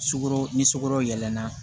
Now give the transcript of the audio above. Sugoro ni sugoro yɛlɛnna